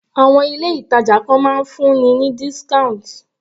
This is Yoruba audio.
Àwọn ilé ìtàjà kan máa ń fún ni ní discount